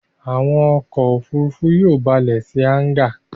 Àwọn ọkọ̀-òfurufú yóò balẹ̀ sí hángà